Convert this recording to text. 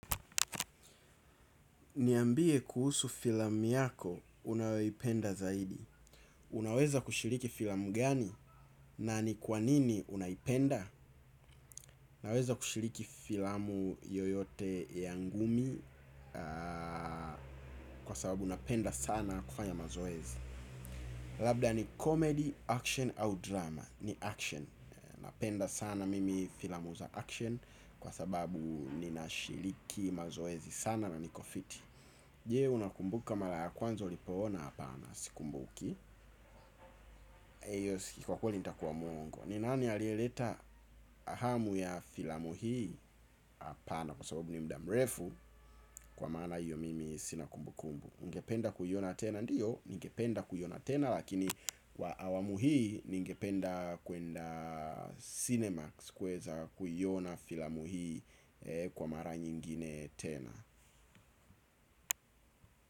Niambie kuhusu filamu yako, unayoipenda zaidi. Unaweza kushiriki filamu gani? Na ni kwa nini unaipenda? Naweza kushiriki filamu yoyote ya ngumi kwa sababu napenda sana kufanya mazoezi. Labda ni comedy, action au drama. Ni action. Napenda sana mimi filamu za action kwa sababu ninashiriki mazoezi sana na niko fiti. Je, unakumbuka mara ya kwanza ulipoona hapana sikumbuki hiyo siki kwa kweli ntakuwa muongo. Ni nani alieleta hamu ya filamu hi apana kwa sababu ni mudamrefu kwa maana hiyo mimi sina kumbukumbu. Ningependa kuiona tena ndiyo ningependa kuiona tena lakini kwa awamu hii ningependa kwenda cinemax kuweza kuiona filamu hii kwa mara nyingine tena.